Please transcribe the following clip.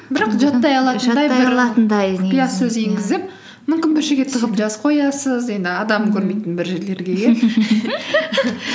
бірақ құпия сөз енгізіп мүмкін бір жерге тығып жазып қоясыз енді адам көрмейтін бір жерлерге иә